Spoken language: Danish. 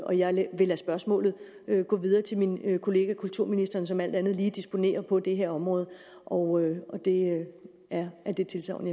og jeg vil lade spørgsmålet gå videre til min kollega kulturministeren som alt andet lige disponerer på det her område og det er det tilsagn